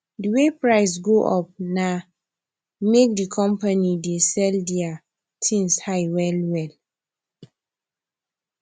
d way price jump go up na make d company dey sell deir tins high well well